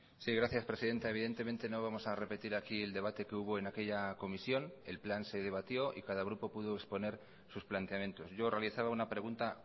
sí gracias presidenta evidentemente no vamos a repetir aquí el debate que hubo en aquella comisión el plan se debatió y cada grupo pudo exponer sus planteamientos yo realizaba una pregunta